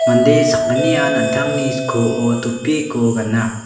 mande sakgnian an·tangni skoo topiko gana.